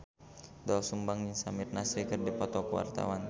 Doel Sumbang jeung Samir Nasri keur dipoto ku wartawan